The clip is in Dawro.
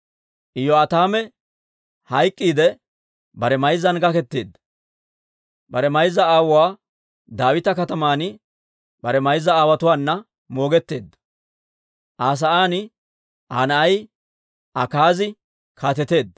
Iyo'aataame hayk'k'iidde, bare mayzzan gaketeedda; bare mayza aawuwaa Daawita Kataman bare mayza aawotuwaana moogetteedda. Aa sa'aan Aa na'ay Akaazi kaateteedda.